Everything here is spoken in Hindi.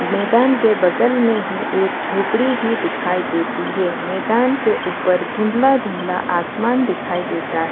मैदान के बगल में ही एक झोपड़ी भी दिखाई देती है मैदान के ऊपर धुंधला धुंधला आसमान दिखाई देता है।